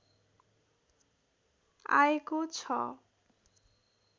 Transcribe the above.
आएको छ